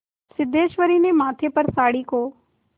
सिद्धेश्वरी ने माथे पर साड़ी को